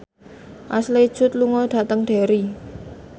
Ashley Judd lunga dhateng Derry